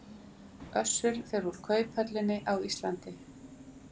Össur fer úr kauphöllinni á Íslandi